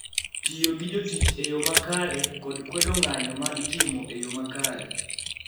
Tiyo gi jotich e yo makare, kod kwedo ng�anjo ma itimo e yo makare.